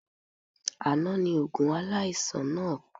Àná ni oògùn aláìsàn náà pé